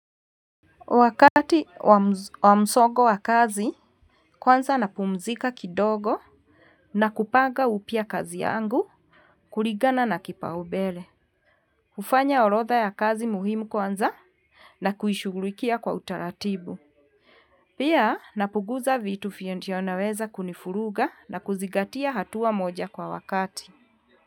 Wakati wa msongo wa kazi, kwanza napumzika kidogo, na kupaga upya kazi yangu, kuligana na kipaubele. Hufanya orodha ya kazi muhimu kwanza, na kuishughulikia kwa utaratibu. Pia, napuguza vitu vile ndio anaweza kunifuruga na kuzigatia hatua moja kwa wakati.